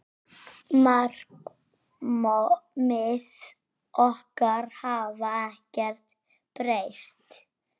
Markmið okkar hafa ekkert breyst.